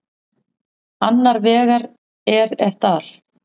Annar vegar er et al.